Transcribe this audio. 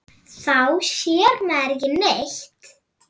Þá sér maður ekki neitt.